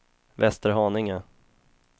Västerhaninge